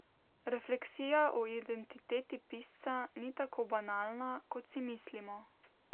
Refleksija o identiteti pisca ni tako banalna, kot si mislimo.